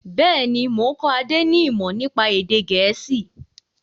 Bẹ́ẹ̀ni, mo ń kọ́ Adé ni imọ nípa èdè gẹ̀ẹ́sì.